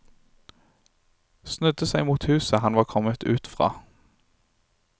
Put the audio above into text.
Snudde seg mot huset han var kommet ut fra.